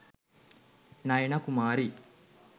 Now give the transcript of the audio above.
nayana kumari